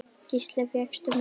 Gísli: Fékkstu mjólk?